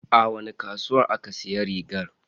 A wani kasuwa aka siya rigar?